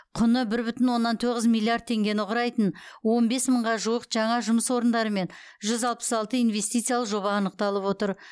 құны бір бүтін оннан тоғыз миллиард теңгені құрайтын он бес мыңға жуық жаңа жұмыс орындары мен жүз алпыс алты инвестициялық жоба анықталып отыр